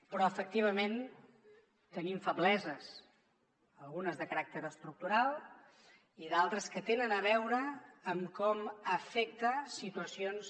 però efectivament tenim febleses algunes de caràcter estructural i d’altres que tenen a veure amb com afecten situacions